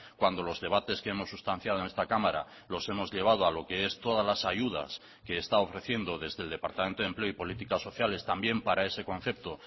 cuando los debates que hemos sustanciado en esta cámara los hemos llevado a lo que es todas las ayudas que está ofreciendo desde el departamento de empleo y políticas sociales también para ese concepto